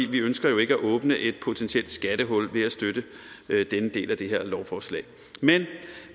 vi ønsker jo ikke at åbne et potentielt skattehul ved at støtte denne del af det her lovforslag men